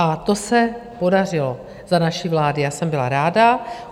A to se podařilo za naší vlády, já jsem byla ráda.